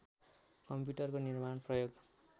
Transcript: कम्प्युटरको निर्माण प्रयोग